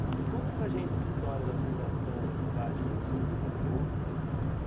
E conta para gente essa história da fundação da cidade pelo seu bisavô.